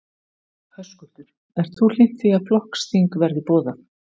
Höskuldur: Ert þú hlynnt því að flokksþing verði boðað?